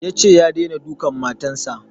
Yace ya daina dukan matan sa